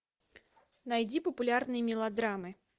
найди популярные мелодрамы